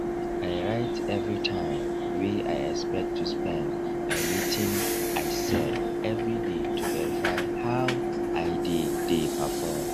i write every time wey i expect to spend and wetin i sell every day to verify how i dey dey perform